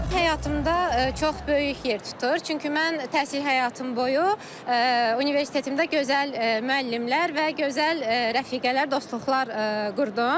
Həyatımda çox böyük yer tutur, çünki mən təhsil həyatım boyu universitetimdə gözəl müəllimlər və gözəl rəfiqələr, dostluqlar qurdum.